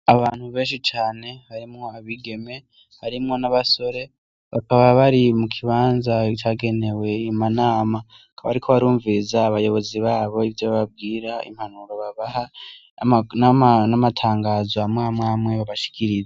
Abantu benshi cane harimwo abigeme harimwo n' abasore bakaba bari mukibanza cagenewe inama bakaba bariko barumviriza abayobozi babo ivyo babwira n' impanuro babaha n' amatangazo amwe amwe babashikiriza.